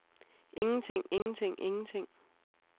ingenting ingenting ingenting